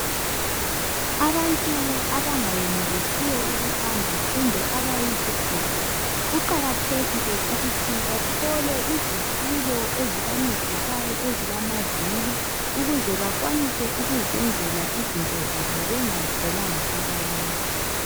Abantu abangayenelisiyo ukuhamba kumbe abayizigoga, kuqakathekile ukuthi bathole izitulo ezibancedisayo ezilamavili ukuze bakwanise ukuzenzela izinto zabo bengacelanga abanye.